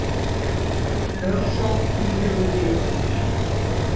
Lögsókn íhuguð ytra